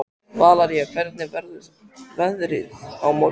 Valería, hvernig verður veðrið á morgun?